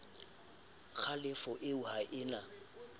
kgalefo eo ha e na